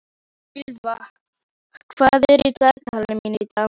Ýlfa, hvað er í dagatalinu mínu í dag?